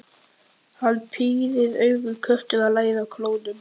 Hann pírir augun, köttur að læða klónum.